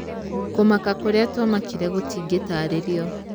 Kũmaka kũrĩa twamakire gũtingitarĩrio.